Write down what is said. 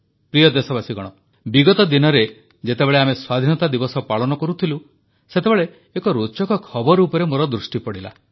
ପ୍ରିୟ ଦେଶବାସୀଗଣ ବିଗତ ଦିନରେ ଯେତେବେଳେ ଆମେ ସ୍ୱାଧୀନତା ଦିବସ ପାଳନ କରୁଥିଲୁ ସେତେବେଳେ ଏକ ରୋଚକ ଖବର ଉପରେ ମୋର ଦୃଷ୍ଟି ପଡ଼ିଲା